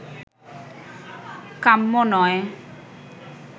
কাম্য নয়